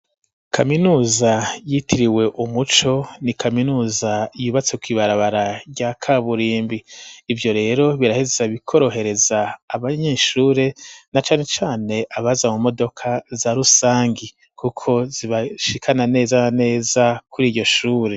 Kaminuza yitiriwe umuco ni kaminuza yubatse kw'ibarabara rya kaburimbi. Ivyo rero biraheza bikorohereza abanyeshure, na cane cane abaza mu modoka za rusangi kuko zibashikana neza na neza kuri iryo shure.